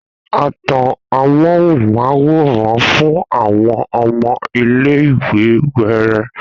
A tan ámúhóunmáwòrán fún àwọn ọmọ iléìwè wẹẹrẹ